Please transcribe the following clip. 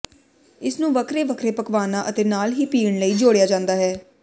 ਇਸਨੂੰ ਵੱਖਰੇ ਵੱਖਰੇ ਪਕਵਾਨਾਂ ਅਤੇ ਨਾਲ ਹੀ ਪੀਣ ਲਈ ਜੋੜਿਆ ਜਾਂਦਾ ਹੈ